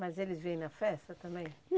Mas eles vêm na festa também?